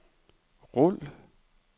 rul